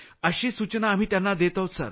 अशी सूचना आम्ही त्यांना देत आहोत